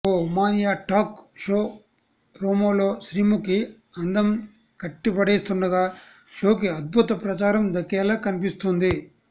ఓ ఉమానియా talk show ప్రోమోలో శ్రీముఖి అందం కట్టిపడేస్తుండగా షోకి అద్భుత ప్రచారం దక్కేలా కనిపిస్తుంది